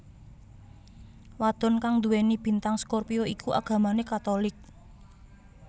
Wadon kang nduweni bintang scorpio iku agamane Katolik